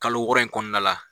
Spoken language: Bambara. Kalo wɔɔrɔ in kɔnɔna la